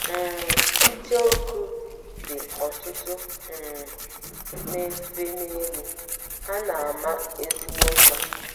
ng! ICHEOKU dị́ ọtụtụ um na - efe n’elu, ha na - ama ezigbo mma.